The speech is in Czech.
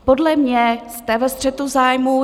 Podle mě jste ve střetu zájmů.